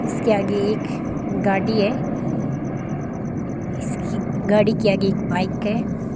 इसके आगे एक गाड़ी है इसकी गाड़ी के आगे एक बाइक है।